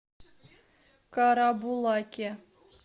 карабулаке